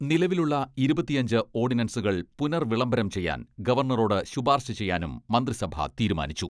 നിലവിലുള്ള ഇരുപത്തിയഞ്ച് ഓഡിനൻസുകൾ പുനർവിളംബരം ചെയ്യാൻ ഗവർണറോട് ശുപാർശ ചെയ്യാനും മന്ത്രിസഭ തീരുമാനിച്ചു.